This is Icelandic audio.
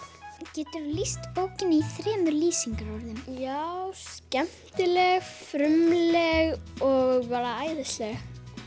geturðu lýst bókinni í þremur lýsingarorðum já skemmtileg frumleg og bara æðisleg